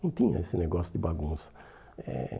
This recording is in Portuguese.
Não tinha esse negócio de bagunça eh.